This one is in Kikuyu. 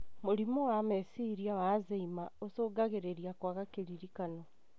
Mũrimũ wa meciria wa Alzheimer ũcungagĩrĩria kwaga kĩririkano.